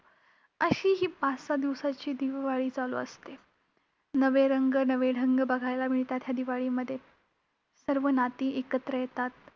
अशी ही पाच-सहा दिवसांची दिवाळी चालू असते. नवे रंग, नवे ढंग बघायला मिळतात, ह्या दिवाळीमध्ये! सर्व नाती एकत्र येतात.